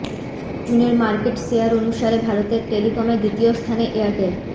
জুনের market share অনুসারে ভারতের টেলিকমে দ্বিতীয় স্থানে এয়ারটেল